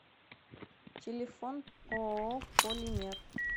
телефон ооо полимер